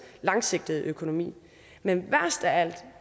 langsigtede økonomi men værst af alt